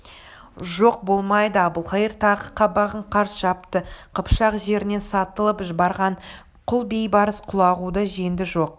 жоқ болмайды әбілқайыр тағы қабағын қарс жапты қыпшақ жерінен сатылып барған құл бейбарыс құлағуды жеңді жоқ